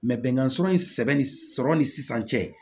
bɛnkan sɔrɔ in sɛbɛnni sɔrɔ ni sisan cɛ